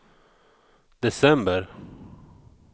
december